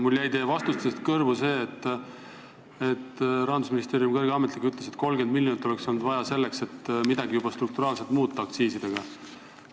Mulle jäid teie vastustest kõrvu Rahandusministeeriumi kõrge ametniku sõnad, et 30 miljonit oleks olnud vaja selleks, et midagi juba strukturaalselt aktsiisidega muuta.